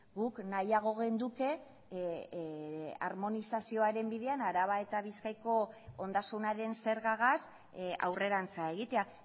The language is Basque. guk nahiago genuke harmonizazioaren bidean araba eta bizkaiko ondasunaren zergagaz aurrerantz egitea